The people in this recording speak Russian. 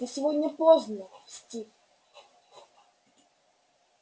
ты сегодня поздно стив